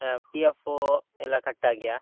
PF ಎಲ್ಲಾ cut ಆಗಿಯಾ?